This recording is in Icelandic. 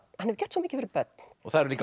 hefur gert svo mikið fyrir börn það eru líka